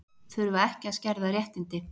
Þurfa ekki að skerða réttindi